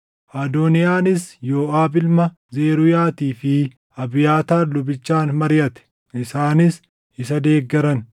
Adooniyaanis Yooʼaab ilma Zeruuyaatii fi Abiyaataar lubichaan mariʼate; isaanis isa deeggaran.